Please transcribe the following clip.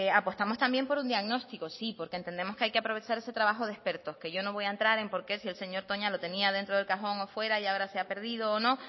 apostamos también por un diagnóstico sí porque entendemos que hay que aprovechar ese trabajo de expertos que yo no voy a entrar en por qué si el señor toña lo tenía dentro del cajón o fuera y ahora se ha perdido o no